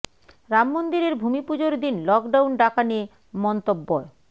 রাম মন্দিরের ভূমি পুজোর দিন লকডাউন ডাকা নিয়ে মন্তব্য়